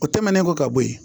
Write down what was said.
O tɛmɛnen kɔ ka bɔ yen